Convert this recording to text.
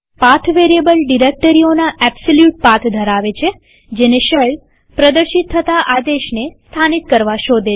path variable ડિરેક્ટરીઓના absolute path ધરાવે છે જેને શેલ પ્રદર્શિત થતા આદેશને સ્થાનીત કરવા શોધે છે